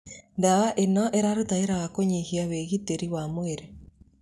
Dawa ĩno ĩraruta wĩra na kũnyihia wĩgitĩri wa mwĩrĩ